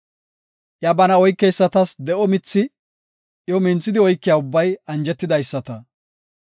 Iya bana oykeysatas de7o mithi; iyo minthidi oykiya ubbay anjetidaysata.